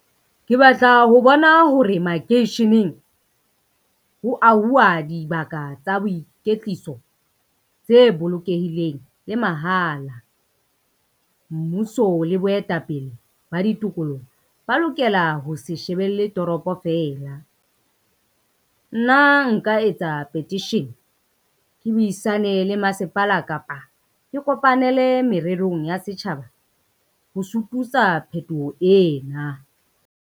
Ke batla ho bona hore makeisheneng ho auwa dibaka tsa boikwetliso, tse bolokehileng le mahala. Mmuso le boetapele ba ditokoloho ba lokela ho se shebelle toropo fela. Nna nka etsa petition ke buisane le masepala kapa ke kopanele mererong ya setjhaba, ho sututsa phetoho ena.